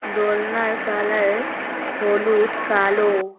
দোলনার colour হলুদ কালো।